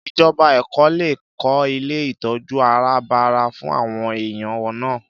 Ìjọba Èkó lè kó ilé ìtọ́jú àràbarà fún àwọn èèyàn náà